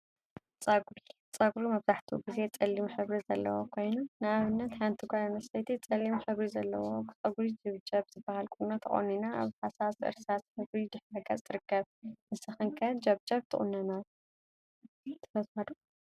ፀጉሪ ፀጉሪ መብዛሕትኡ ግዜ ፀሊም ሕብሪ ዘለዎ ኮይኑ፤ ንአብነት ሓንቲ ጓል አንስተይቲ ፀሊም ሕብሪ ዘለዎ ፀጉሪ ጀብጀብ ዝበሃል ቁኖ ተቆኒና አብ ሃሳስ እርሳስ ሕብሪ ድሕረ ገፅ ትርከብ፡፡ ንስክን ኸ ጀብጀብ ምቁናን ትፈትዋ ዶ?